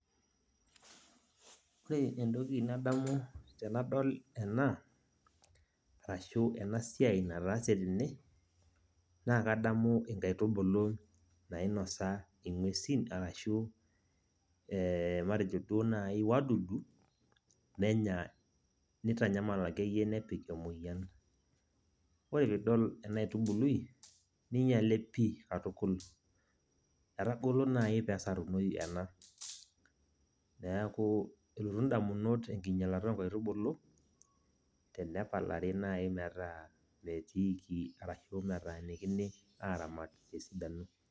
Ore entoki nadamu tenadol ena, arashu enasiai nataase tene, naa kadamu inkaitubulu nainosa ing'uesin, arashu matejo duo nai wadudu, nenya nitanyamal akeyie nepik emoyian. Ore pidol enaitubului, ninyale pi katukul. Etagolo nai pesarunoi ena. Neeku elotu indamunot enkinyalata onkaitubulu, tenepalari nai metaa metiiki arashu metaanikini aramat tesidanao.